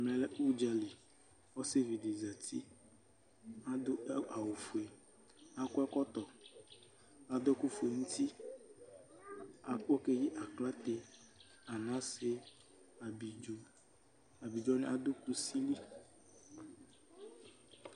ɛmɛ lɛ ʋdzali ɔsii dini zati, adʋ awʋ ƒʋɛ, akɔ ɛkɔtɔ, adʋ ɛkʋ ƒʋɛ nʋ ʋti akpɔ kɛyi aklatɛ, anasɛ, abidzɔ, abidzɔ wani adʋ kʋsi li